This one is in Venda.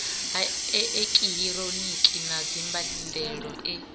ha eekihironiki na dzimbandelo e